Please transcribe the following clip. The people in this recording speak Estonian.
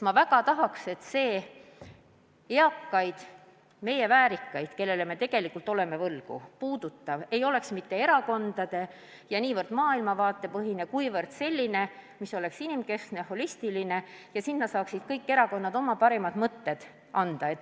Ma väga tahaks, et see eakaid, meie väärikaid kodanikke, kellele me tegelikult oleme palju võlgu, puudutav mudel ei oleks mitte erakondade-, maailmavaatepõhine, vaid inimkeskne, holistiline ja et selle kujundamisse saaksid kõik erakonnad oma parimad mõtted anda.